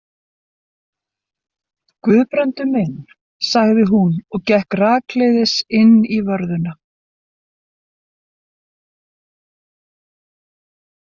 Guðbrandur minn, sagði hún og gekk rakleiðis inn í vörðuna.